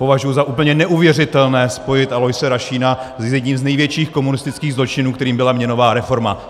Považuji za úplně neuvěřitelné spojit Aloise Rašína s jedním z největších komunistických zločinů, kterým byla měnová reforma.